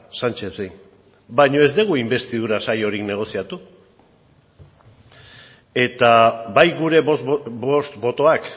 sánchezi baino ez dugu inbestidura saiorik negoziatu eta bai gure bost botoak